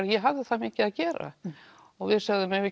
ég hafði það mikið að gera og við sögðum eigum